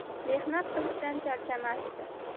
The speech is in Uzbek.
Mehnat qilishdan charchamasdi.